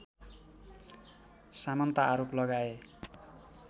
सामन्त आरोप लगाए